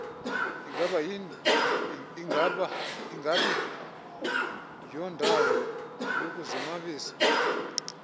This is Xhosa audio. ingabi yondawo yokuzonwabisa